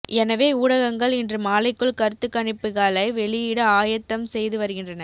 எனவே ஊடகங்கள் இன்று மாலைக்குள் கருத்துக்கணிப்புகளை வெளியிட ஆயத்தம் செய்து வருகின்றன